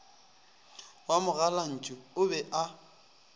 wa mogalantšu o be a